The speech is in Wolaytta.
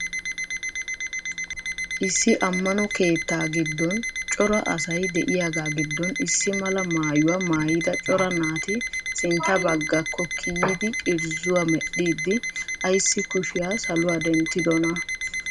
issi ammaano keettaa giddon cora asay de7iyagaa giddon issi malaa maayuwaa maayida cora naati sintta baggakko kiyyidi irzzuwa medhdhidi aysi kushiya saaluwaa denttidonaa?